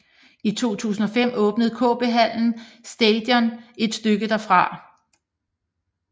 I 2005 åbnede KB Hallen Station et stykke derfra